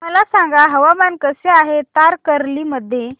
मला सांगा हवामान कसे आहे तारकर्ली मध्ये